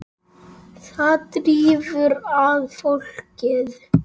Það drífur að fólkið.